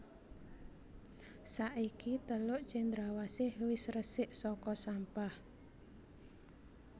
Saiki teluk Cendrawasih wis resik soko sampah